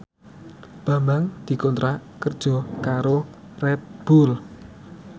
Bambang dikontrak kerja karo Red Bull